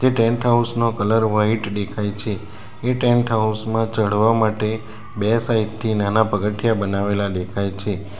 Tent house નો colour white દેખાય છે એ ટેન્ટ હાઉસ માં ચડવા માટે બે સાઇટ થી નાના પગથિયાં બનાવેલા દેખાય છે.